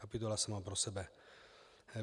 Kapitola sama pro sebe.